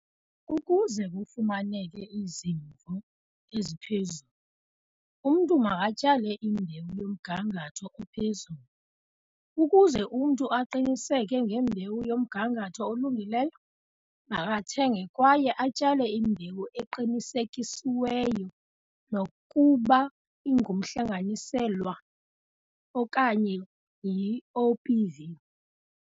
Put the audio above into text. Ukuze kufumaneke izivuno eziphezulu, umntu makatyale imbewu yomgangatho ophezulu. Ukuze umntu aqiniseke ngembewu yomgangatho olungileyo, makathenge kwaye atyale imbewu eqinisekisiweyo, nokuba ingumhlanganiselwa okanye yi-OPV.